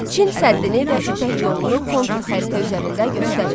Çin səddini və ipək yolunu kontur xəritə üzərində göstərin.